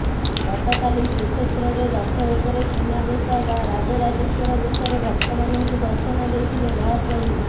ଗତକାଲି ଶ୍ରୀକ୍ଷେତ୍ରରେ ରଥ ଉପରେ ସୁନାବେଶ ବା ରାଜରାଜେଶ୍ୱର ବେଶରେ ଭକ୍ତମାନଙ୍କୁ ଦର୍ଶନ ଦେଇଥିଲେ ମହାପ୍ରଭୁ